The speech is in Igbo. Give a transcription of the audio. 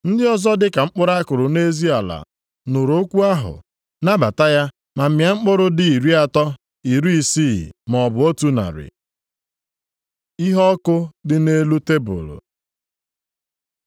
Ndị ọzọ, dị ka mkpụrụ a kụrụ nʼezi ala, nụrụ okwu ahụ, nabata ya ma mịa mkpụrụ dị iri atọ, iri isii, maọbụ otu narị.” Iheọkụ dị nʼelu tebul